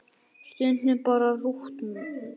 Stundum bara rúntað.